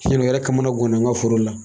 u yɛrɛ kamana gan na n ka foro la.